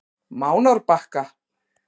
Mánárbakka